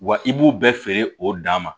Wa i b'u bɛɛ feere o dan ma